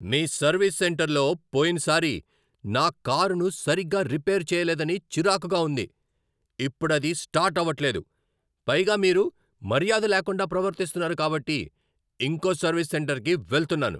మీ service సెంటర్లో పోయినసారి నా కారును సరిగ్గా రిపేర్ చేయలేదని చిరాకుగా ఉంది. ఇప్పుడది స్టార్ట్ ఆవట్లేదు, పైగా మీరు మర్యాద లేకుండా ప్రవర్తిస్తున్నారు కాబట్టి ఇంకో సర్వీస్ సెంటర్కి వెళ్తున్నాను.